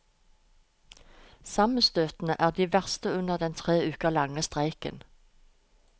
Sammenstøtene er de verste under den tre uker lange streiken.